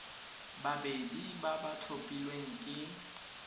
babedi ba ba tlhophilweng ke